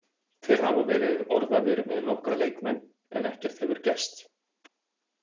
Þeir hafa verið orðaðir við nokkra leikmenn en ekkert hefur gerst.